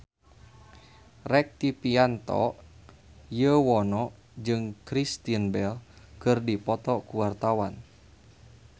Rektivianto Yoewono jeung Kristen Bell keur dipoto ku wartawan